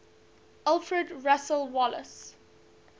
alfred russel wallace